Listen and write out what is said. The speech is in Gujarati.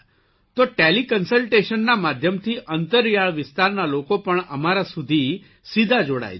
તો ટેલીકન્સલટેશનના માધ્યમથી અંતરિયાળ વિસ્તારના લોકો પણ અમારા સુધી સીધા જોડાય છે